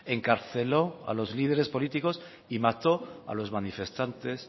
encarceló a los líderes políticos y mató a los manifestantes